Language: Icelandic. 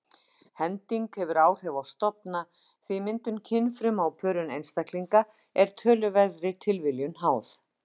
Hending hefur áhrif á stofna því myndun kynfruma og pörun einstaklinga er töluverðri tilviljun háð.